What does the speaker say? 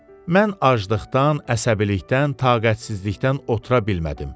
Mən aclıqdan, əsəbilikdən, taqətsizlikdən otura bilmədim.